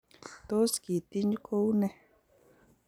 tos kitiny kou ne?